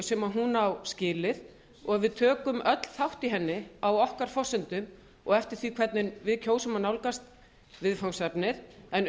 sem hún á skilið og við tökum öll þátt í henni á okkar forsendum og eftir því hvernig við kjósum að nálgast umfangsefnið en